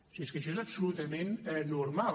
si és que això és absolutament normal